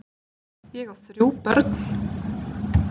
Ég á þrjú börn!